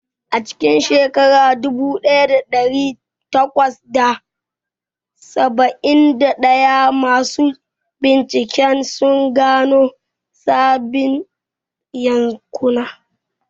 A cikin shekara dubu ɗaya da ɗari takwas da saba'in da ɗaya, masu bincike sun gano sabbin yankuna.